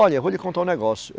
Olha, eu vou lhe contar um negócio.